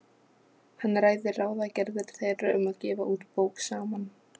Hann ræðir ráðagerðir þeirra um að gefa út bók saman.